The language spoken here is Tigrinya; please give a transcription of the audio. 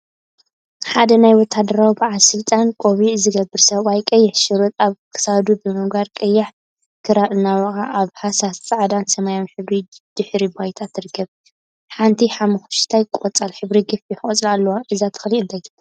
ሓደ ናይ ወታሃደራዊ በዓል ስልጣን ቆቢዕ ዝገበረ ሰብአይ ቀይሕ ሸሪጥ አብ ክሳዱ ብምግባር ቀያሕ ክራር እናወቅዐ አብ ሃሳስ ፃዕዳን ሰማያዊን ሕብሪ ድሕረ ባይታ ትርከብ፡፡ ሓንቲ ሓመኩሽታይ ቆፃል ሕብሪ ገፊሕ ቆፅሊ አለዋ፡፡ እዛ ተክሊ እንታይ ትበሃል?